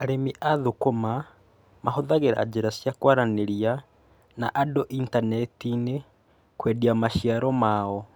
Arĩmi a thũkũma mahũthagĩra njĩra cia kwaranĩria na andũ initaneti-inĩ kũendia maciaro ma o.